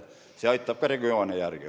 See aitab ka regioone järele.